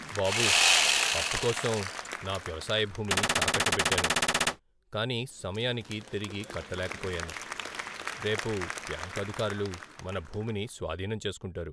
బాబూ, అప్పు కోసం నా వ్యవసాయ భూమిని తాకట్టు పెట్టాను, కానీ సమయానికి తిరిగి కట్టలేకపోయాను. రేపు బ్యాంకు అధికారులు మన భూమిని స్వాధీనం చేసుకుంటారు.